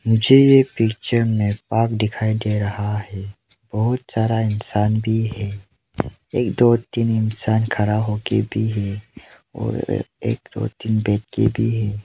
मुझे यह पिक्चर में पार्क दिखाई दे रहा है बहुत सारा इंसान भी है एक दो तीन इंसान खड़ा हो के भी है और एक दो तीन बैठ के भी है।